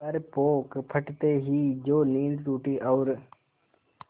पर पौ फटते ही जो नींद टूटी और